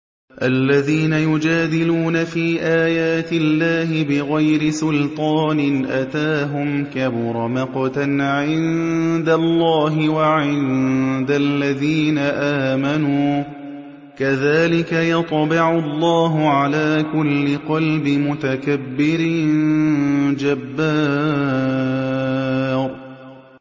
الَّذِينَ يُجَادِلُونَ فِي آيَاتِ اللَّهِ بِغَيْرِ سُلْطَانٍ أَتَاهُمْ ۖ كَبُرَ مَقْتًا عِندَ اللَّهِ وَعِندَ الَّذِينَ آمَنُوا ۚ كَذَٰلِكَ يَطْبَعُ اللَّهُ عَلَىٰ كُلِّ قَلْبِ مُتَكَبِّرٍ جَبَّارٍ